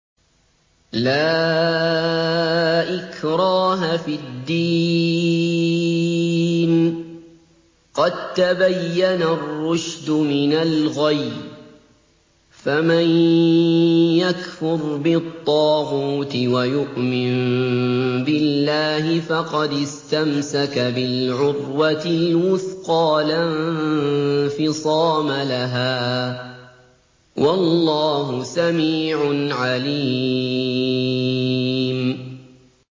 لَا إِكْرَاهَ فِي الدِّينِ ۖ قَد تَّبَيَّنَ الرُّشْدُ مِنَ الْغَيِّ ۚ فَمَن يَكْفُرْ بِالطَّاغُوتِ وَيُؤْمِن بِاللَّهِ فَقَدِ اسْتَمْسَكَ بِالْعُرْوَةِ الْوُثْقَىٰ لَا انفِصَامَ لَهَا ۗ وَاللَّهُ سَمِيعٌ عَلِيمٌ